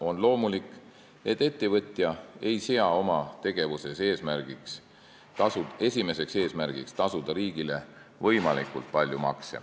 On loomulik, et ettevõtja ei sea oma tegevuse esimeseks eesmärgiks tasuda riigile võimalikult palju makse.